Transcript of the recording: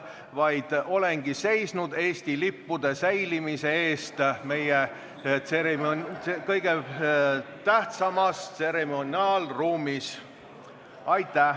Ma olen seisnud Eesti lippude püsimise eest meie kõige tähtsamas tseremoniaalruumis.